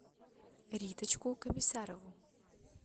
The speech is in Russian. риточку комиссарову